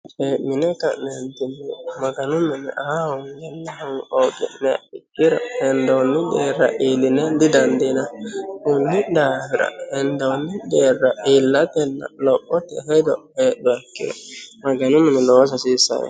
cee'mine ka'neetinni maganu minira aa hoogiro hendooni deerra illine didaandiinanni konni daafira hendoonni deerra illatenna lophote hedo heedhuha ikkiro maganu mine loosa hasiisaoo yaate